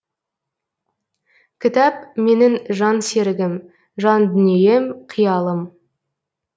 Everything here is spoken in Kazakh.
кітап менің жан серігім жан дүнием қиялым